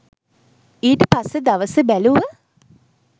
ඊට පස්සෙ දවසෙ බැලුව